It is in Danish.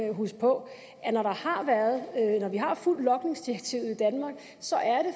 at huske på at når vi har fulgt logningsdirektivet i danmark så er det